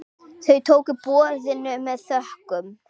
Þau tóku boðinu með þökkum.